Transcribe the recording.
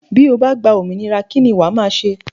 Bí o bá gba òmìnira kí ni wàá máa ṣe?